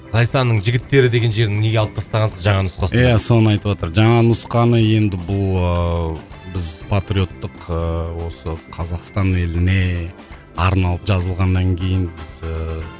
зайсанның жігіттері деген жерін неге алып тастағансыз жаңа нұсқасында иә соны айтыватыр жаңа нұсқаны енді бұл ыыы біз патриоттық ыыы осы қазақстан еліне арналып жазылғаннан кейін біз ыыы